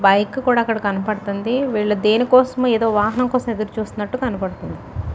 Bike కూడా కనబడుతుంది. వాళ్ళు దేనికోసమో వాహనం కోసమూ ఎదురుచూస్తున్నట్లు కనబడుతుంది.